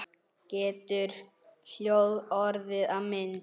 Getur hljóð orðið að mynd?